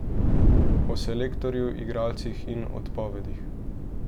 O selektorju, igralcih in odpovedih.